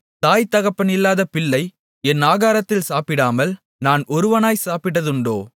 தாய் தகப்பனில்லாத பிள்ளை என் ஆகாரத்தில் சாப்பிடாமல் நான் ஒருவனாய்ச் சாப்பிட்டதுண்டோ